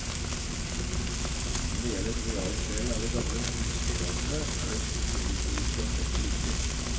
Når det gjelder bevaringsdelen av de gamle husdyrrasene, er det kulturhistoriske aspektet viktig.